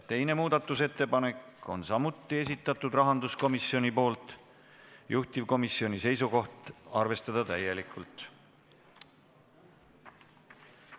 Teise muudatusettepaneku on samuti esitanud rahanduskomisjon, juhtivkomisjoni seisukoht on arvestada täielikult.